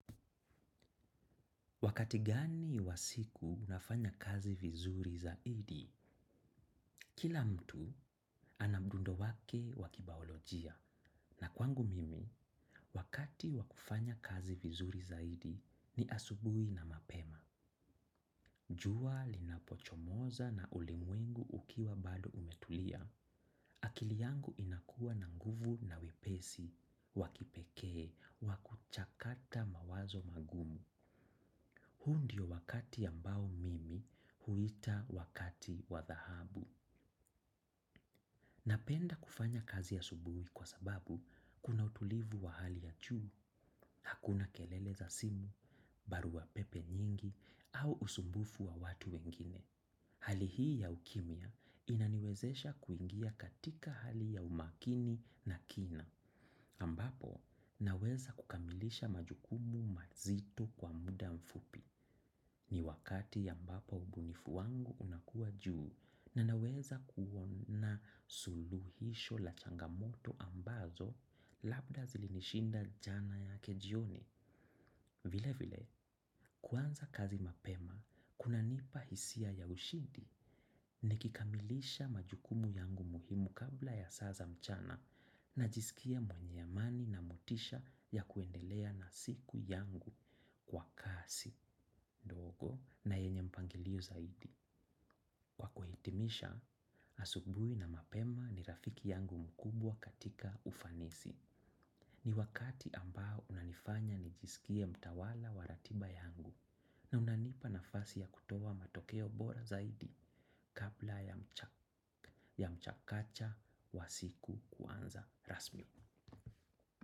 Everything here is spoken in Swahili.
Wakati gani wa siku unafanya kazi vizuri zaidi, kila mtu ana bundo wake wa kibaolojia na kwangu mimi, wakati wa kufanya kazi vizuri zaidi ni asubui na mapema. Jua linapochomoza na ulimwengu ukiwa bado umetulia. Akili yangu inakuwa na nguvu na wepesi, wa kipekee, wa kuchakata mawazo magumu. Huu ndio wakati ambao mimi huita wakati wa dhahabu. Napenda kufanya kazi asubuhi kwa sababu kuna utulivu wa hali ya juu, hakuna kelele za simu, barua pepe nyingi, au usumbufu wa watu wengine. Hali hii ya ukimya inaniwezesha kuingia katika hali ya umakini na kina, ambapo naweza kukamilisha majukumu mazito kwa muda mfupi. Ni wakati ambapo ubunifu wangu unakua juu na naweza kuona suluhisho la changamoto ambazo labda zilinishinda jana yake jioni. Vile vile, kuanza kazi mapema, kunanipa hisia ya ushindi nikikamilisha majukumu yangu muhimu kabla ya saa za mchana najisikia mwenye amani na motisha ya kuendelea na siku yangu kwa kasi, dogo na yenye mpangilio zaidi. Kwa kuhitimisha, asubui na mapema ni rafiki yangu mkubwa katika ufanisi. Ni wakati ambao unanifanya nijisikie mtawala wa ratiba yangu na unanipa nafasi ya kutoa matokeo bora zaidi kabla ya mchakacha wa siku kuanza rasmi.